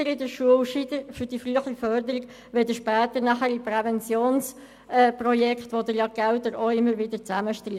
Es ist bestimmt besser, das Geld für die Schule oder die frühe Förderung auszugeben als später für Präventionsprojekte, für die Sie die Gelder auch immer wieder zusammenstreichen.